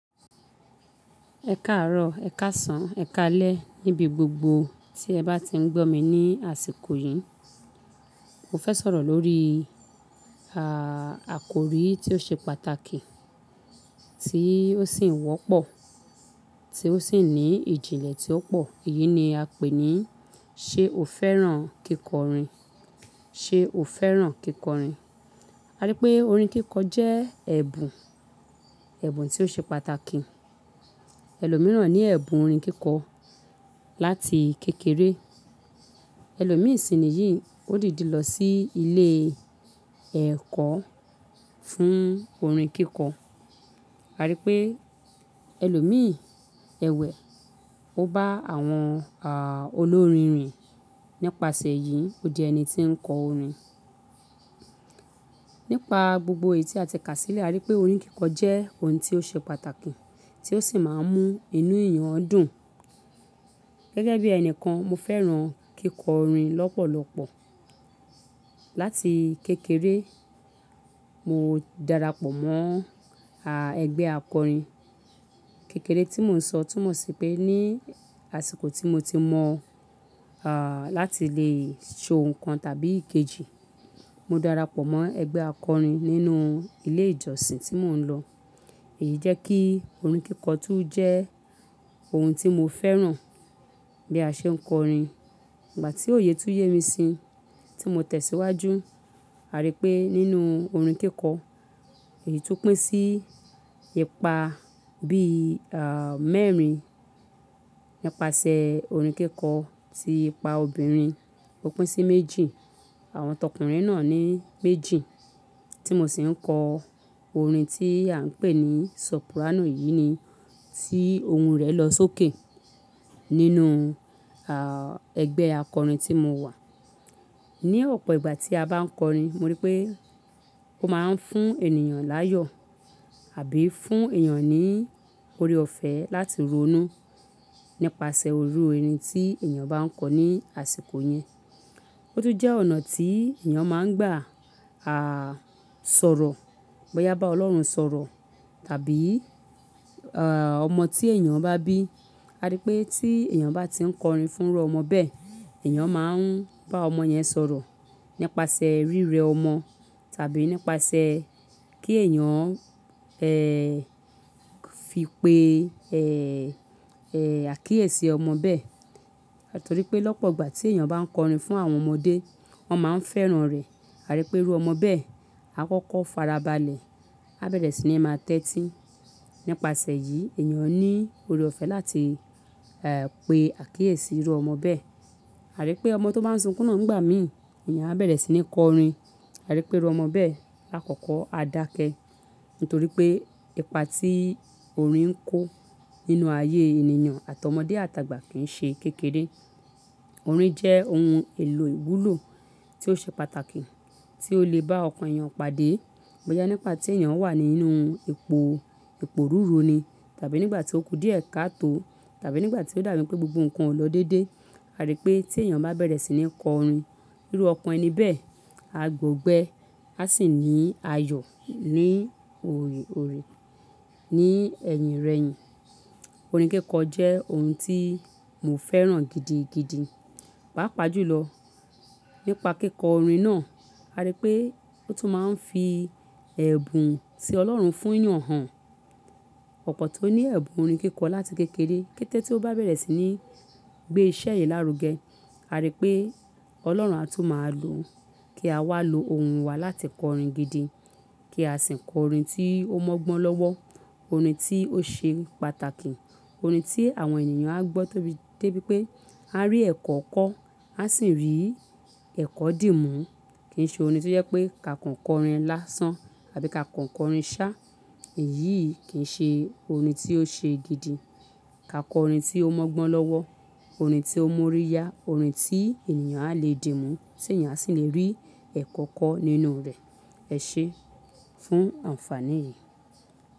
Ẹ káàárọ̀, ẹ̀ káàsán, ẹ̀ káalẹ́ níbi gbogbo tí ẹ bá ti ń gbọ́ mi ni àsìkò yìí. Mo fẹ́ sọ̀rọ̀ lórí, àkòrí tí ó ṣe pàtàkì, tí ó sì ń wọ́pọ̀, tí ó sì ní ìjìnlẹ̀ tí ó pọ̀. Èyí ni a pè ní ṣe o fẹ́ràn kíkọrin? Ṣe o fẹ́ràn kíkọrin? A rí pé orin kíkọ jẹ́ ẹ̀bùn, ẹ̀bùn tí ó ṣe pàtàkì. Ẹlòmíràn ní ẹ̀bùn orin kíkọ láti kékeré. Ẹlòmíràn sì ni yìí, ó dìdi lọ sí ilé-ẹ̀kọ́ fún orin kíkọ. A rí pé ẹlòmí ẹwẹ̀, ó bá àwọn, olórin rìn. Nípasẹ̀ yìí, ó di ẹni tí ń kọ orin. Nípa gbogbo èyí tí a ti kà sílẹ̀, a rí pé orin kíkọ jẹ́ ohun tí ó ṣe pàtàkì, tí ó sì máa ń mú inú èèyàn dùn. Gẹ́gẹ́ bí ẹni kan, mo fẹ́ràn kíkọrin lọ́pọ̀lọpọ̀. Láti kékeré, mo darapọ̀ mọ́, ẹgbẹ́ akọrin. Kékére tí mò ń sọ túmọ̀ sí pé ní àsìkò tí mo ti mọ̀, láti lè ṣe ohun kan tàbí kejì, mo darapọ̀ mọ́ ẹgbẹ́ akọrin nínú ilé ìjọsìn tí mò ń lọ. Èyí jẹ́ kí orin kíkọ tún jẹ́ ohun tí mo fẹ́ràn bí i a ṣe ń kọrin. Ìgbà tí òye túyẹ́ mi síi, tí mo tẹ̀síwájú, a rí pé nínú orin kíkọ, èyí tún pín sí ipa bí i, mẹ́rin. Nípasẹ̀ orin kíkọ tí ipa obìnrin, ó pín sí méjì. Àwọn tọkùnrin náà ní méjì. Tí mo sì ń kọ orin tí à ń pè ní soprano, yìí ni tí ohun rẹ̀ lọ sókè nínú, ẹgbẹ́ akọrin tí mo wà. Ni ọ̀pọ̀ ìgbà tí a bá ń kọrin, mo rí pé ó máa ń fún ènìyàn láyọ̀ àbí fún èèyàn ní ore-ọ̀fẹ́ láti ronú. Nípasẹ̀ orú orin tí èèyàn bá ń kọ ní àsìkò yẹn. Ó tún jẹ́ ọ̀nà tí èèyàn máa ń gbà, a, sọ̀rọ̀. Bóyá bá Ọlọ́run sọ̀rọ̀ tàbí, ọmọ tí èèyàn bá bí. A rí pé tí èèyàn bá ti ń kọrin fún irú ọmọ bẹ́ẹ̀, èèyàn máa ń bá ọmọ yẹn sọ̀rọ̀ nípasẹ̀ rírẹ ọmọ tàbí nípasẹ̀ kí èèyàn, fi pe, e, è, àkíyèsí ọmọ bẹ́ẹ̀. Nítorí pé lọ́pọ̀ ìgbà tí èèyàn bá ń kọrin fún àwọn ọmọdé, wọ́n máa ń fẹ́ràn rẹ̀. A rí pé irú ọmọ bẹ́ẹ̀, á kọ́kọ́ fara balẹ̀, á bẹ̀rẹ̀ sí ní máa tẹ́tí. Nípasẹ̀ yìí, èèyàn ní ore-ọ̀fẹ́ láti, pe àkíyèsí irú ọmọ bẹ́ẹ̀. A rí pé ọmọ tó máa ń sunkún náà ń gbà mí, èèyàn á bẹ̀rẹ̀ sí ní kọrin. A rí pé irú ọmọ bẹ́ẹ̀, á kọ́kọ́ á dákẹ́. Nítorí pé ipa tí orin ń kó nínú ayé ènìyàn àti ọmọdé àtàgbà kì ń ṣe kékeré. Orin jẹ́ ohun èlò ìwúlò tí ó ṣe pàtàkì, tí ó lè bá ọkàn èèyàn padé. Bóyá nígbà tí èèyàn wà nínú ipo, iporúru ni tàbí nígbà tí ó kú díẹ̀ ká tó tàbí nígbà tí ó dàbí pé gbogbo nǹkan ò lọ dédé. A rí pé tí èèyàn bá bẹ̀rẹ̀ sí ní kọrin, irú ọkàn ẹni bẹ́ẹ̀, á gbógbẹ́, á sì ní ayọ̀ ní orín, ní ẹ̀yìn rẹ̀yìn. Orin kíkọ jẹ́ ohun tí mo fẹ́ràn gidi, gidi. Pápa jùlọ nípa kíkọ orin náà, a rí pé ó tún máa ń fi ẹ̀bùn tí Ọlọ́run fún èèyàn hàn. Ọ̀pọ̀ tó ní ẹ̀bùn orin kíkọ láti kékeré, kété tí ó bá bẹ̀rẹ̀ sí ní gbé iṣẹ́ yen lárugẹ, a rí pé Ọlọ́run á tún máa lo kí a wá lo ohun wa láti kọ orin gidi. Kí a sì ń kọ orin tí ó mọ́gbọ́n lọ́wọ́. Orin tí ó ṣe pàtàkì. Orin tí àwọn ènìyàn á gbọ́ de bí pé a rí ẹ̀kọ́ kọ́, a sì ń rí ẹ̀kọ́ dì mú. Kì ń ṣe orin tí ó jẹ́ pé ka kọ orin lásán àbí ka kọ orin sá. Èyí kì ń ṣe orin tí ó ṣe gidi. Ka kọ orin tí ó mọ́gbọ́n lọ́wọ́. Orin tí ó mú orí yá. Orin tí èèyàn á lè dì mú sì èèyàn sì lè rí ẹ̀kọ́ kọ́ nínú rẹ̀. Ẹ ṣe é fún àǹfàní.